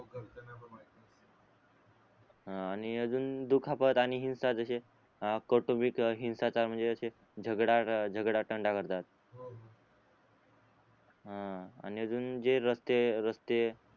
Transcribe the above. हा आणि अजून दुखापत आणि हिंसा जसे अं करतो हिंसाचार म्हणजे तंडा करतात हो हा आणि अजून जे रस्ते रस्ते